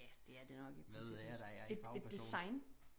Ja det er det nok i princippet et et design